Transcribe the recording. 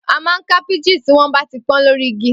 Peaches ti wa ni ti gbe ni tente pọn lati awọn igi ọgba.